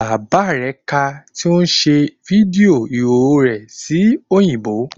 Bàbá rẹ̀ ka tí ó ń ṣe fídíò ìhòòhò rẹ̀ sí òyìnbó